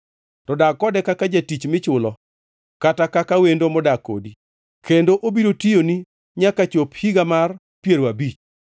To dag kode kaka jatich michulo kata kaka wendo modak kodi, kendo obiro tiyoni nyaka chop higa mar piero abich.